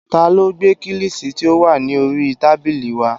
Ta ló gbé kílìṣí tí ó wà ní oríi tábìlì wá?